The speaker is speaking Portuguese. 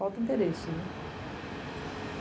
Falta interesse, né?